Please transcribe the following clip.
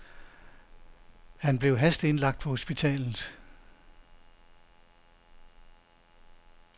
Han blev hasteindlagt på hospitalet.